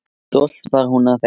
Stolt var hún af þeim.